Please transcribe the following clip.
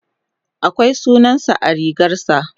akwai sunansa a rigarsa